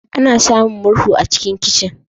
Ana samun murhu a cikin kicin.